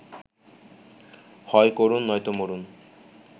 হয় করুন নয়তো মরুন